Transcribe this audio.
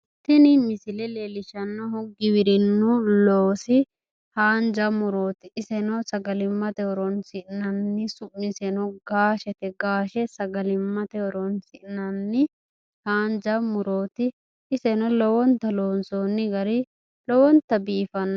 Tini misile leellishshannohu giwirinnu loosi haanja murooti. Iseno sagalimmate horoonsi'nanni. Su'miseno gaashete. Gaashe sagalimmate horoonsi'nanni haanja murooti. Iseno lowonta loonsoonni gari lowonta biifanno.